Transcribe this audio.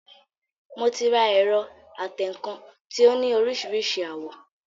Mo ti ra ẹ̀rọ atẹǹkan tí ó ní oríṣiríṣi àwọ̀